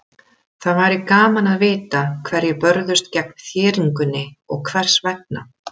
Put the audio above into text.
Það væri gaman að vita hverjir börðust gegn þéringunni og hvers vegna.